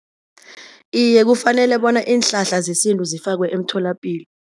Iye kufanele bona iinhlahla zesintu zifakwe emtholapilo.